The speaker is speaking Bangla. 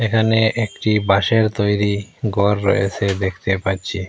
এখানে একটি বাঁশের তৈরি গর রয়েছে দেখতে পাচ্ছি।